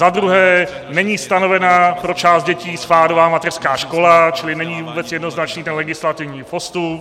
Za druhé není stanovená pro část dětí spádová mateřská škola, čili není vůbec jednoznačný ten legislativní postup.